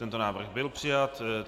Tento návrh byl přijat.